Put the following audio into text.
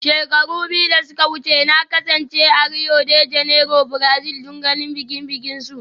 Shekaru biyu da suka wuce, na kasance a Rio de Janeiro, Brazil don ganin bikin bikinsu